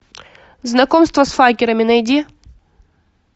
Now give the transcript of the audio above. знакомство с факерами найди